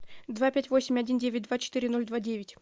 два пять восемь один девять два четыре ноль два девять